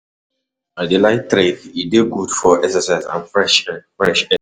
I dey like trek, e dey good for exercise and fresh air. fresh air.